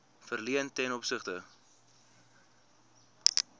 verleen ten opsigte